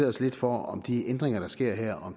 os lidt for om de ændringer der sker her